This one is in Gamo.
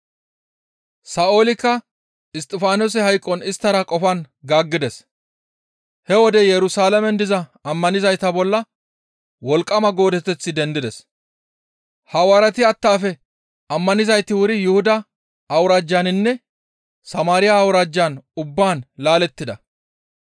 Sa7oolikka Isttifaanose hayqon isttara qofan gaaggides; he wode Yerusalaamen diza ammanizayta bolla wolqqama goodeteththi dendides. Hawaareti attaafe ammanizayti wuri Yuhuda awuraajjaninne Samaariya awuraajja ubbaan laalettida.